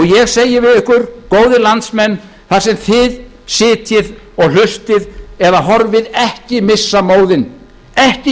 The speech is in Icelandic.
ég segi við ykkur góðir landsmenn þar sem þið sitjið og hlustið eða horfið ekki missa móðinn ekki